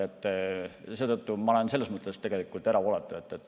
Seetõttu olen ma selles mõttes tegelikult erapooletu.